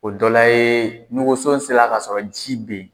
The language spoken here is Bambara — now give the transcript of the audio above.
O dɔ la ye ni woso sera ka sɔrɔ ji bɛ yen